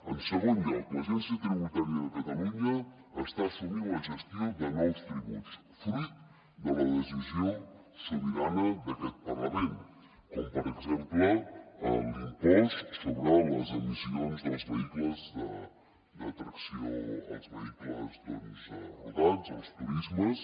en segon lloc l’agència tributària de catalunya està assumint la gestió de nous tributs fruit de la decisió sobirana d’aquest parlament com per exemple l’impost sobre les emissions dels vehicles de tracció els vehicles rodats els turismes